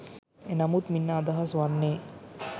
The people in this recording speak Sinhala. එනමුත් මින් අදහස් වන්නේ